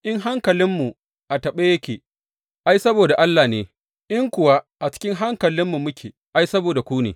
In hankalinmu a taɓe yake, ai, saboda Allah ne, in kuwa cikin hankalinmu muke, ai, saboda ku ne.